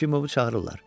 Yefimovu çağırırlar.